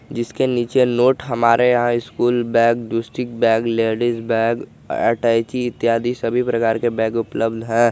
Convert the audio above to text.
जिसके नीचे नोट हमारे यहां school bag tourist bag ladies bag अटैची इत्यादि सभी प्रकार के बैग उपलब्ध है।